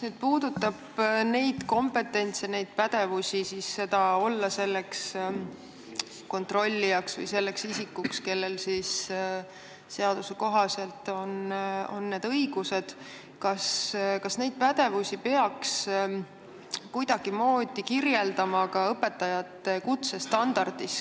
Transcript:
Mis puudutab seda kompetentsi, pädevust olla kontrollija ehk isik, kellel seaduse kohaselt on see õigus, siis kas seda pädevust peaks kuidagimoodi kirjeldama ka õpetajate kutsestandardis?